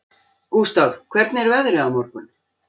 Gústaf, hvernig er veðrið á morgun?